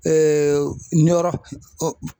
ɲƆRƆ